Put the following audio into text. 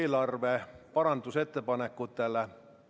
Head kolleegid, esimene muudatusettepanek, mille on esitanud rahanduskomisjon.